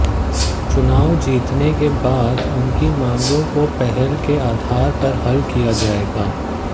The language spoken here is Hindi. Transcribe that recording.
चुनाव जीतने के बाद उनकी मांगों को पहल के आधार पर हल किया जाएगा